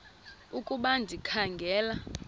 ukuba ndikha ngela